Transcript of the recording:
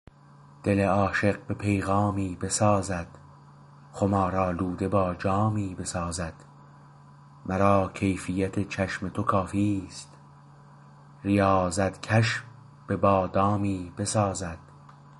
دل عاشق به پیغامی بسازد خمار آلوده با جامی بسازد مرا کیفیت چشم تو کافیست ریاضت کش به بادامی بسازد